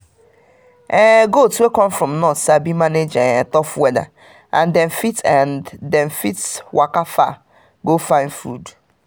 goat wey come from north sabi manage um tough weather and dem fit and dem fit waka far go find food.